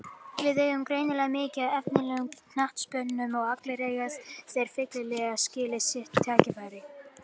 Við eigum greinilega mikið af efnilegum knattspyrnumönnum og allir eiga þeir fyllilega skilið sitt tækifæri.